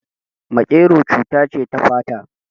Maƙero cuta ce ta fata